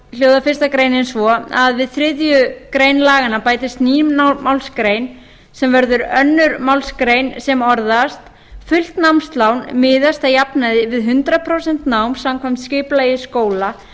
þá hljóðar fyrsta grein svo að við þriðju grein laganna bætist ný málsgrein sem verður önnur málsgrein sem orðast fullt námslán miðast að jafnaði við hundrað prósent nám samkvæmt skipulagi skóla